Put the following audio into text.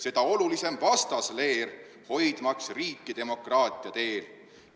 Seda olulisem vastasleer hoidmaks riiki demokraatia teel.